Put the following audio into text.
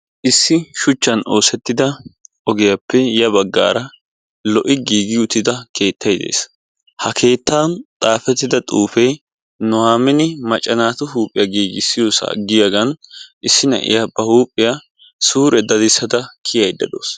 Issi shuchchaan oosettida ogiyappe ya baggaara lo"i giigi uttida keettay de'ees. Ha keettaan xaafettida xuufee Nohamin macca naatu huuphphiya giiggissiyossa giyaggan issi na'iya ba huuphphiya suure daddissida kiyada dawusu.